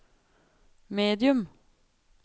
medium